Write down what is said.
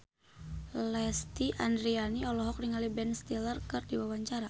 Lesti Andryani olohok ningali Ben Stiller keur diwawancara